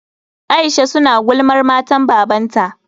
Aisha su na gulmar matan babanta.